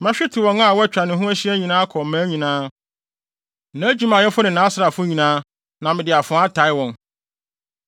Mɛhwete wɔn a wɔatwa ne ho ahyia nyinaa akɔ mmaa nyinaa; nʼadwumayɛfo ne nʼasraafo nyinaa, na mede afoa ataa wɔn.